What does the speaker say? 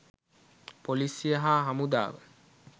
පොලීසිය හා හමුදාව.